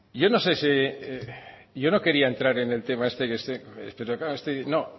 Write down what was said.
yo no quería entrar en el tema este no